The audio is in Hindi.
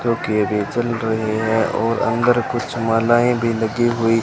जो कि अभी चल रहे हैं और अंदर कुछ मालाएं भी लगी हुई --